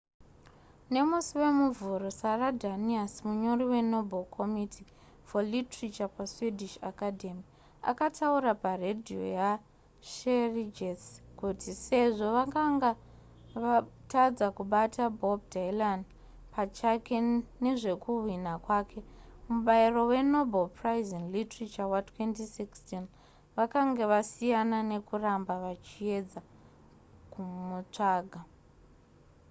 nemusi wemuvhuro sara danius munyori wenoble committee for literature paswedish academy akataura paredhiyo yesveriges kuti sezvo vakanga vatadza kubata bob dylan pachake nezvekuhwina kwake mubairo wenobel prize in literature wa2016 vakanga vasiyana nekuramba vachiedza kumutsvaga